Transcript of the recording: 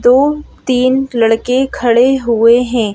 दो तीन लड़के खड़े हुए हैं।